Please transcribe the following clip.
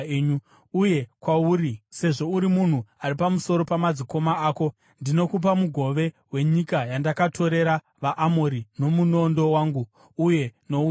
Uye kwauri, sezvo uri munhu ari pamusoro pamadzikoma ako, ndinokupa mugove wenyika yandakatorera vaAmori nomunondo wangu uye nouta hwangu.”